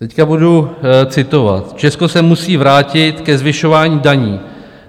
Teď budu citovat: "Česko se musí vrátit ke zvyšování daní."